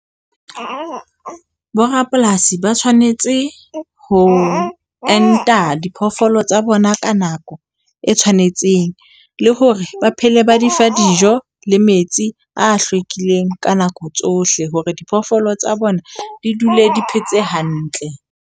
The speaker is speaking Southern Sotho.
Borapolasi ba tshwanetse ho enta diphoofolo tsa bona ka nako e tshwanetseng le hore ba phele ba di fa dijo le metsi a hlwekileng ka nako tsohle, hore diphoofolo tsa bona di dule di phetse hantle.